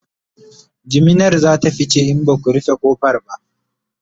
jiminar zata fice in Baku rufe ƙofar ba